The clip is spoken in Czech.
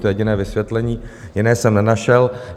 To je jediné vysvětlení, jiné jsem nenašel.